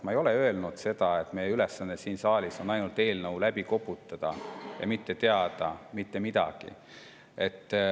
Ma ei ole öelnud, et meie ülesanne siin saalis on ainult eelnõu läbi koputada, mitte midagi teada pole vaja.